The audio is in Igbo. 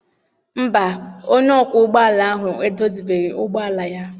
Mba, onye ọkwọ ụgbọala ahụ edozibeghị ụgbọala ya.